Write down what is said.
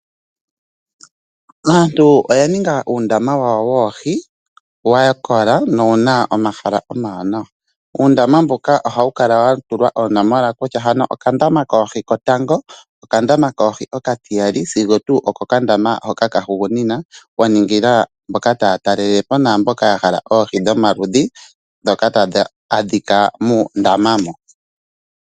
Aantu oya ninga uundama wa wo woohi, wa kola na owu na omahala omawanawa. Uundama mbuka ohawu kala wa tulwa oonomola kutya, hano okandama koohi kotango, okandama koohi okatiyali sigo tuu okokandama ka hugunina. Wa ningila mboka taa talele po naamboka ya hala oohi dhomaludhi ndhoka tadhi adhika muundama mo.